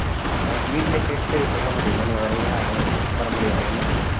அர்~ வீட்டுல கேட்டு சொல்ல முடியுமா நீ வரியா வர முடியாதானு